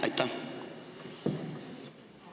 Aitäh!